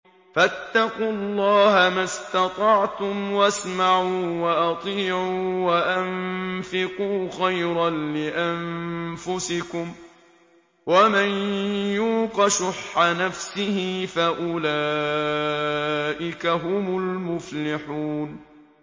فَاتَّقُوا اللَّهَ مَا اسْتَطَعْتُمْ وَاسْمَعُوا وَأَطِيعُوا وَأَنفِقُوا خَيْرًا لِّأَنفُسِكُمْ ۗ وَمَن يُوقَ شُحَّ نَفْسِهِ فَأُولَٰئِكَ هُمُ الْمُفْلِحُونَ